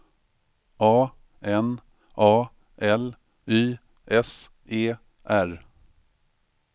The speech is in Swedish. A N A L Y S E R